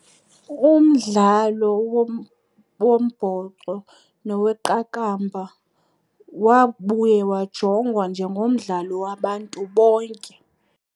Umdlalo wombhoxo noweqakamba wabuya wajongwa njengomdlalo wabantu bonke.